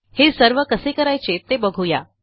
हे सर्व कसे करायचे ते बघू या